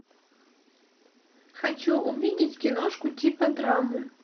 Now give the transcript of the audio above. хочу увидеть киношку типа драмы